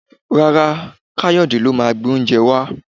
Rárá, Kayode lo máa gbé oúnjẹ wá